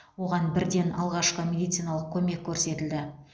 оған бірден алғашқы медициналық көмек көрсетілді